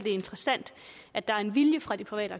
interessant at der er en vilje fra de private